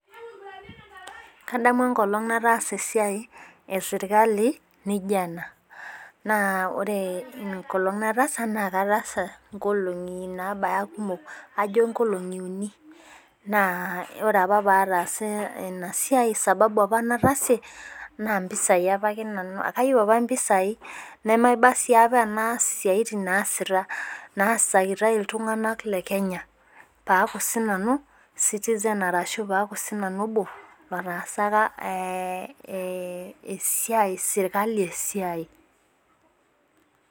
Kadamu enkolong nataasa esiae eserkali nijo ena naa ore enkolong nataasa naa katasa nkolongi naabaya kumok ajo nkolongi uni naa ore apa paatasa Ina siae sababu apa nataasie naa mpisai aapake nanu kayieu apake mpisai nemaba sii apa tenaa esiae naasakitae iltungana Le Kenya paaku sinanu citizen ashu paaku sinanu obo otaasaka ee ee esiae serkali esiae.